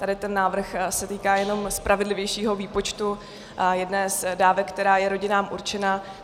Tady ten návrh se týká jenom spravedlivějšího výpočtu jedné z dávek, která je rodinám určena.